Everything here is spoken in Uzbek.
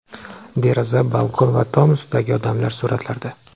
Deraza, balkon va tom ustidagi odamlar suratlarda.